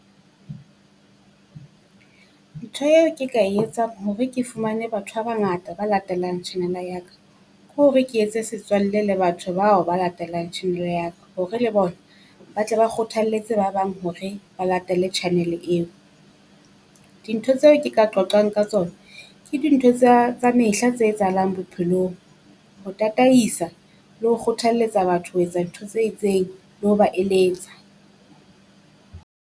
Ntho eo ke ka e etsang hore ke fumane batho ba bangata ba latellang channel-a ya ka, ke hore ke etse setswalle le batho bao ba latelang ya ka. Hore le bona ba tle ba kgothalletse ba bang hore ba latele channel eo. Dintho tseo ke ka qoqang ka tsona ke dintho tsa tsa mehla tse etsahalang bophelong, ho tataisa le ho kgothalletsa batho ho etsa dintho tse itseng, le ho ba eletsa.